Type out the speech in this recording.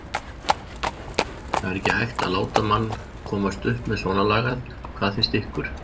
það er ekki hægt að láta mann komast upp með svona lagað. hvað finnst ykkur?